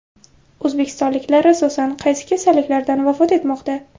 O‘zbekistonliklar asosan qaysi kasalliklardan vafot etmoqda?.